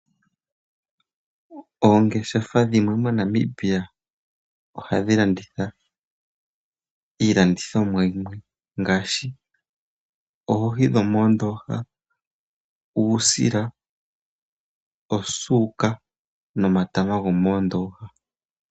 Oongeshefa dhimwe MoNamibia ohadhi landitha iilandithomwa yimwe ngaashi oohi dho moondoha , uusila, osuka, no matama go moondoha.